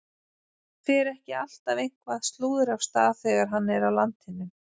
Fer ekki alltaf eitthvað slúður af stað þegar hann er á landinu?